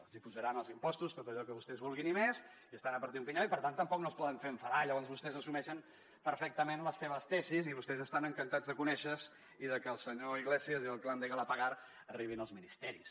els apujaran els impostos tot allò que vostès vulguin i més i estan a partir un pinyó i per tant tampoc no els poden fer enfadar llavors vostès assumeixen perfectament les seves tesis i vostès estan encantats de conèixer se i que el senyor iglesias i el clan de galapagar arribin als ministeris